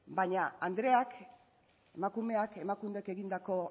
baina andreak emakumeak emakundek egindako